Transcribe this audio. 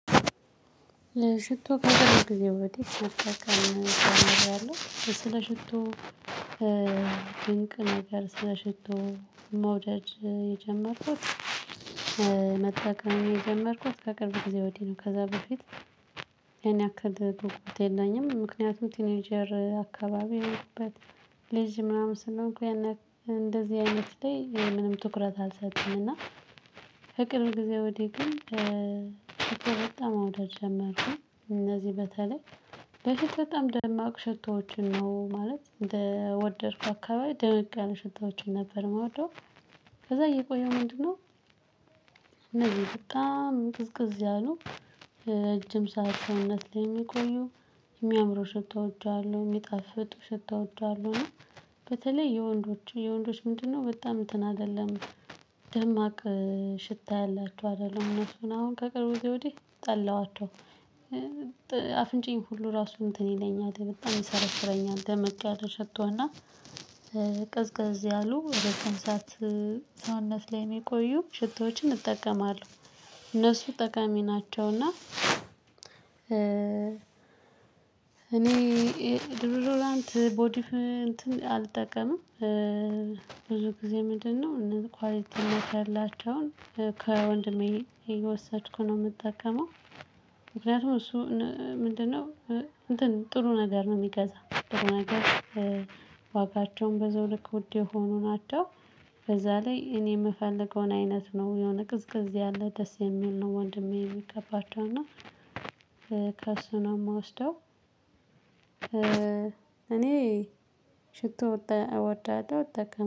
ለሽቶ ከቅርብ ጊዜ ወዲህ መጠቀም ጀምሬያለሁ ስለ ሽቶ ድንቅ ነገር ስለ ሽቶ መውደድ የጀመርኩት መጠቀም የጀመርኩት ከቅርብ ጊዜ ወዲህ ነው። ከዛ በፊት ያን ያክል ጉጉት የለኝም ምክንያቱም ቲኔጀር አካባቢ የሆንኩበት ልጅ ምናምን ስለሆንኩ ያን ያክል እንደዚህ አይነት ላይ ምንም ትኩረት አልሰጥም። እና ከቅርብ ጊዜ ወዲህ ግን ሽቶ በጣም ማውደድ ጀመርኩኝ። እነዚህ በተለይ በፊት በጣም ደማቅ ሽቶዎችን ነው ማለት እንደ ወደድኩ አካባቢ ደመቅ ያለ ሽቶዎችን ነበር ምወዳው ከዛ እየቆየሁ ምንድነው? እነዚህ በጣም ቅዝቅዝ ያሉ ረጅም ሰዉነት ላይ የሚቆዩ የሚያምሩ ሽቶዎች አሉ ሚጣፍጡ ሽቶዎች አሉ። እና በተለይ የወንዶች የወንዶች ምንድነው? በጣም እንትን አይደለም ደማቅ ሽታ ያላችሁ አይደለም እነሱን አሁን ከቅርብ ጊዜ ወዲህ ጠለኋቸው። አፍንጫዬን ሁሉ እራሱ እንትን ይለኛል በጣም ይሰረስረኛል ደመቅ ያለ ሽቶ እና ቅዝቅዝ ያሉ ረጅም ሰዓት ሰውነት ላይ የምቆዩ ሽቶዎችን እጠቀማለሁ። እነሱ ጠቃሚ ናቸው። እና እኔ ዶዶራንት ቦዲ እንትን አልጠቀምም። ብዙ ጊዜ ምንድነው? እነ ኳሊቲ ሜክ ያላቸውን ከወንድሜ እየወሰድኩ ነው የምጠቀመው። ምክንያቱም እሱ ምንድነው? ጥሩ ነገር ነው የሚገዛው። ዋጋቸውም በዘው ልክ ዉድ የሆኑ ናቸው። በዛ ላይ እኔ የምፈልገውን አይነት ነው የሆነ ቅዝቅዝ ያለ ደስ የሚል ነው። ወንድሜ የሚቀባቸው እና ከእሱ ነው የምወስደው። እኔ ሽቶ እወዳለሁ እጠቀማለሁ